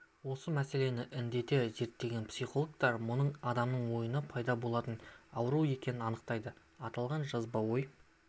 осы мәселені індете зерттеген психологтар мұның адамның ойынан пайда болатын ауру екенін анықтайды аталған жазба ой